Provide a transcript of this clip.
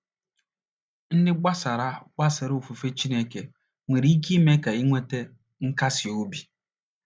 ndị gbasara gbasara ofufe Chineke nwere ike ime ka inweta nkasi obi